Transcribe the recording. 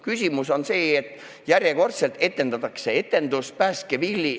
Küsimus on selles, et järjekordselt etendatakse etendust "Päästke Willy".